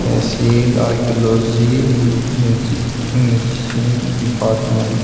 tehsil archaeology music musician department --